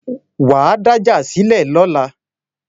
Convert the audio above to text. Wà á dájà sílẹ̀ lọ́la